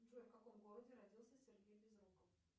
джой в каком городе родился сергей безруков